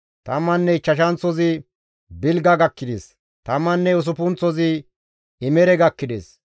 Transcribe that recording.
Tamman ichchashanththozi Bilga gakkides; Tamman usuppunththozi Imere gakkides;